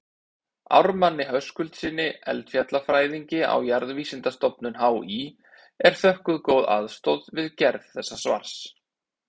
Ármanni Höskuldssyni eldfjallafræðingi á Jarðvísindastofnun HÍ er þökkuð góð aðstoð við gerð þessa svars.